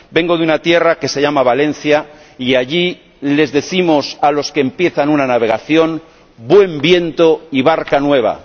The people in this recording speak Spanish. Vengo de una tierra que se llama Valencia y allí les decimos a los que empiezan una navegación ¡buen viento y barca nueva!.